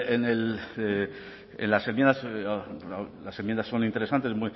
en las enmiendas las enmiendas son interesantes